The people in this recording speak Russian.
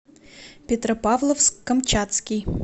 петропавловск камчатский